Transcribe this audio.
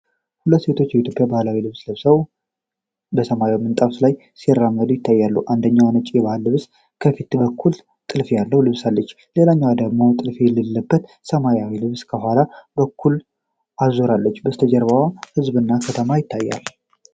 ሁለት ሴቶች የኢትዮጵያ ባህላዊ ልብስ ለብሰው በሰማያዊ ምንጣፍ ላይ ሲራመዱ ይታያሉ። አንደኛዋ ነጭ የባህል ልብስ ከፊት በኩል ጥልፍ ያለው ለብሳለች፤ ሌላዋ ደግሞ ጥልፍ ያለበት ሰማያዊ ልብስ ከኋላ በኩል አዙራለች። ከበስተጀርባ ሕዝብና ከተማው ይታያሉ።